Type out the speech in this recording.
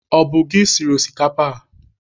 Ọ bụ gị siri osikapa a?